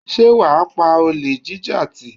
Sé wà á pa olè jíjà tì?